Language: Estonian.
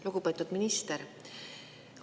Lugupeetud minister!